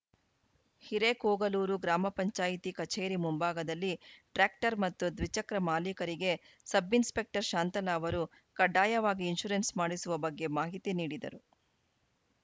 ಹಿರೇಕೋಗಲೂರು ಗ್ರಾಮ ಪಂಚಾಯತ್ ಕಚೇರಿ ಮುಂಭಾಗದಲ್ಲಿ ಟ್ರ್ಯಾಕ್ಟರ್‌ ಮತ್ತು ದ್ವಿಚಕ್ರ ಮಾಲೀಕರಿಗೆ ಸಬ್‌ಇನ್‌ಸ್ಪೆಕ್ಟರ್‌ ಶಾಂತಲಾ ಅವರು ಕಡ್ಡಾಯವಾಗಿ ಇನ್ಶೂರೆನ್ಸ್‌ ಮಾಡಿಸುವ ಬಗ್ಗೆ ಮಾಹಿತಿ ನೀಡಿದರು